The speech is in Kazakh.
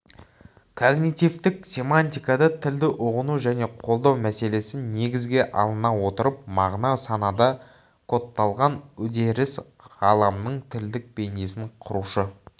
когнитивтік семантикада тілді ұғыну және қолдау мәселесі негізге алына отырып мағына санада кодталған үдеріс ғаламның тілдік бейнесін құрушы